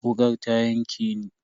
Wukar ta yanke ni.